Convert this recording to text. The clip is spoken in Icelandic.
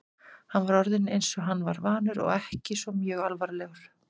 Hann var orðinn eins og hann var vanur og ekki svo mjög alvarlegur.